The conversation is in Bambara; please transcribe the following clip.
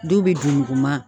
Dɔw bɛ dunikuman